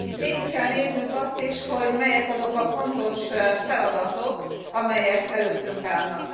Végig kell néznünk azt is, hogy melyek azok a fontos feladatok, amelyek előttünk állnak.